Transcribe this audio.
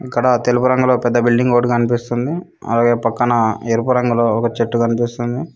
ఇక్కడ తెలుపు రంగులో పెద్ద బిల్డింగ్ ఒకటి కనిపిస్తుంది అలాగే పక్కన ఎరుపు రంగులో ఒక చెట్టు కనిపిస్తుంది.